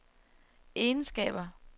egenskaber